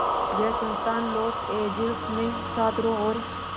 यह संस्थान Los Angeles में छात्रों और